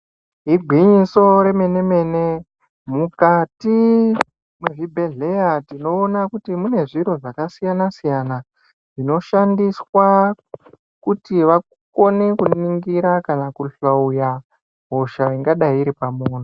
Igwinyiso remene-mene , mukati mwezvibhedhleya tinoona kuti, mune zviro zvakasiyana-siyana, zvinoshandiswa kuti vakone, kuningira kana kuhloya ,hosha ingadai iri pamunhu.